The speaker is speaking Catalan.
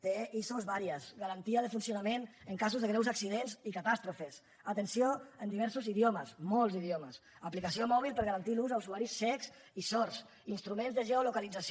té iso diverses garantia de funcionament en casos de greus accidents i catàstrofes atenció en diversos idiomes molts idiomes aplicació mòbil per garantir l’ús a usuaris cecs i sords instruments de geolocalització